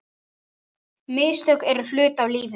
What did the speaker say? Mistök eru hluti af lífinu.